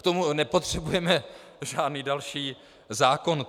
K tomu nepotřebujeme žádný další zákon.